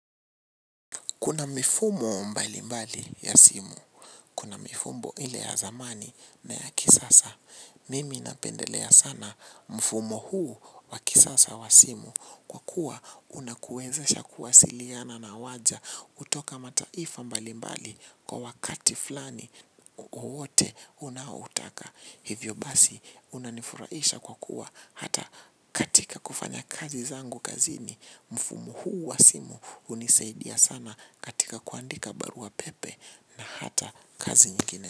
Kuna mifumo mbali mbali ya simu. Kuna mifumo ile ya zamani na ya kisasa. Mimi napendelea sana mfumo huu wa kisasa wa simu kwa kuwa unakuwezesha kuwasiliana na waja kutoka mataifa mbali mbali kwa wakati flani wowote unaoutaka. Hivyo basi unanifurahisha kwa kuwa hata katika kufanya kazi zangu kazini mfumo huu wa simu hunisaidia sana katika kuandika barua pepe na hata kazi nyingine.